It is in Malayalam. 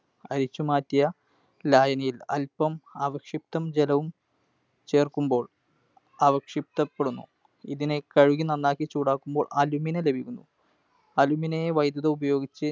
അരിച്ചുമാറ്റിയ ലായനിയിൽ അൽപം അവക്ഷിപ്തം ജലവും ചേർക്കുമ്പോൾ അവക്ഷിപ്തപ്പെടുന്നു. ഇതിനെ കഴുകി നന്നാക്കി ചൂടാക്കുമ്പോൾ Alumina ലഭിക്കുന്നു. Alumina യെ വൈദ്യുതി ഉപയോഗിച്ച്